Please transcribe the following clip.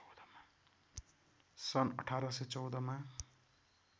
सन् १८१४ मा